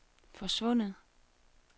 forsvundet